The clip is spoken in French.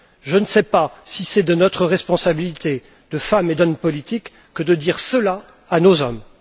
Je ne sais pas si c'est de notre responsabilité de femmes et d'hommes politiques que de dire cela à nos hommes.